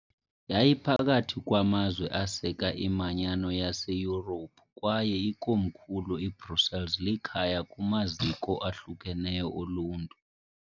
Yayiphakathi kwamazwe aseka iManyano yaseYurophu kwaye ikomkhulu iBrussels likhaya kumaziko ahlukeneyo oluntu.